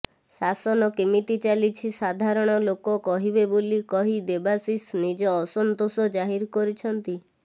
ଶାସନ କେମିତି ଚାଲିଛି ସାଧାରଣ ଲୋକ କହିବେ ବୋଲି କହି ଦେବାଶିଷ ନିଜ ଅସନ୍ତୋଷ ଜାହିର କରିଛନ୍ତି